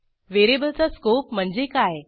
व्हेरिएबलचा स्कोप म्हणजे काय